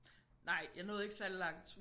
Nej jeg nåede ikke særlig langt